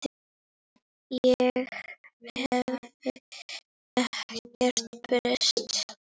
Ég hef ekkert breyst.